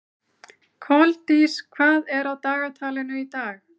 Koldís, hvað er á dagatalinu í dag?